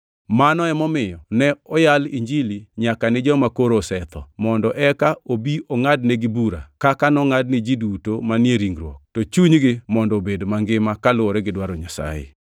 Mano emomiyo ne oyal Injili nyaka ni joma koro osetho, mondo eka obi ongʼadnegi bura, kaka nongʼad ni ji duto manie ringruok, to chunygi mondo obed mangima kaluwore gi dwaro Nyasaye.